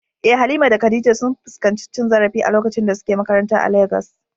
Eh, Halima da Khadija sun fuskanci cin zarafi a lokacin da suke makaranta a Legas.